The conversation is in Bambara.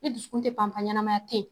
I dusukun tɛ pan pan ɲanamaya tɛ yen.